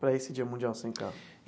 para esse dia mundial sem carro?